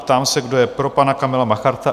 Ptám se, kdo je pro pana Kamila Macharta?